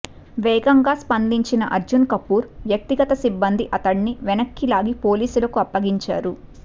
వేగంగా స్పందించిన అర్జున్ కపూర్ వ్యక్తిగత సిబ్బంది అతడిని వెనక్కు లాగి పోలీస్ లకు అప్పగించారు